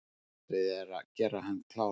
Verið er að gera hann kláran